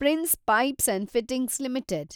prince pipes and fittings limited